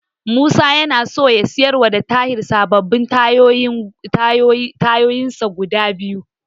Musa yana so ya siyarwa da Tahir sababbin tayoyinsa guda biyu.